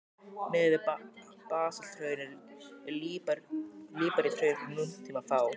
Miðað við basalthraun eru líparíthraun frá nútíma fá.